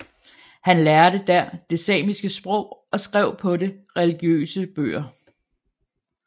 Han lærte der det samiske sprog og skrev på det religiøse bøger